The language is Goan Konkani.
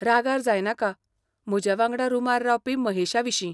रागार जायनाका, म्हजे वांगडा रुमार रावपी महेशाविशीं.